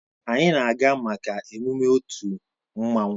Anyị na-aga maka emume otu mmanwụ